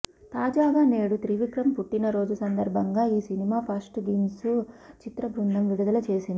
తాజాగా నేడు త్రివిక్రమ్ పుట్టినరోజు సందర్భంగా ఈ సినిమా ఫస్ట్ గ్లిమ్స్ను చిత్రబృందం విడుదల చేసింది